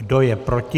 Kdo je proti?